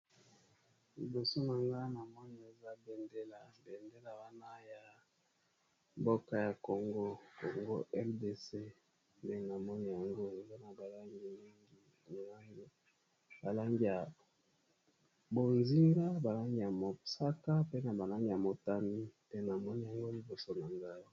Liboso na nga na moni eza bendela bendela wana ya mboka ya congo, congo Rdc nde namoni yango eza na ba langi mingi ba langi ya bonziga ba langi ya mosaka pe na ba langi ya motane, pe namoni yango liboso nangai.